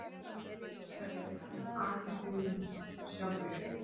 Æla umferðarinnar: Atli Sigurjónsson Sjá frétt